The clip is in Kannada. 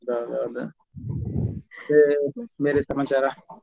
ಮತ್ತೆ ಬೇರೆ ಸಮಾಚಾರ.